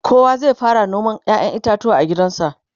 kowa zai fara noman ƴaƴan itatuwa a gidansa